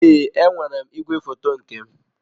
Ee, enwere m igwefoto nke m.